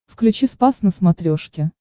включи спас на смотрешке